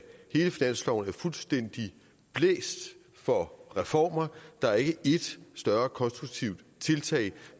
hele finansloven er fuldstændig blæst for reformer der er ikke et større konstruktivt tiltag